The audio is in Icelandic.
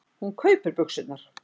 Hún kaupir buxurnar.